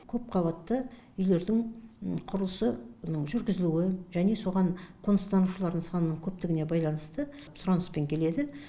көпқабатты үйлердің құрылысы жүргізілуі және соған қоныстанушылардың санының көптігіне байланысты сұраныспен келеді